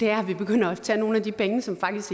er at vi begynder at tage nogle af de penge som faktisk